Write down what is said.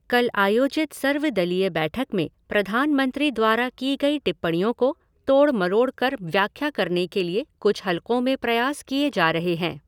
कल आयोजित सर्व दलीय बैठक में प्रधान मंत्री द्वारा की गई टिप्पणियों को तोड़ मरोड़ कर व्याख्या करने के लिए कुछ हलक़ों में प्रयास किए जा रहे हैं।